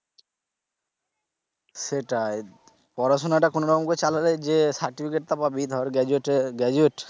সেটাই পড়াশুনাটা কোনরকমভাবে চালালে যে certificate টা পাবি ধর graduate এর graduate